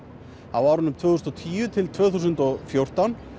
á árunum tvö þúsund og tíu til tvö þúsund og fjórtán